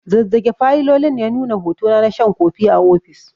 Zazzage fayilolin ya nuna hotona na shan kofi a ofis.